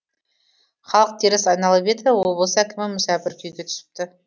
халық теріс айналып еді облыс әкімі мүсәпір күйге түсіпті